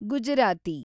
Gujarati